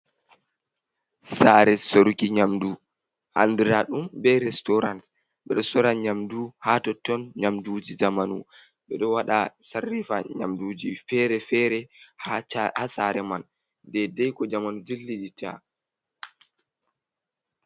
Sare soruki nyamdu andira ɗum be resturant. Ɓe ɗo sora nyamdu ha totton nyamduji zamanu. Ɓeɗo sarrifa nyamduji fere-fere ha sare man dedai ko zamanu dilliditta.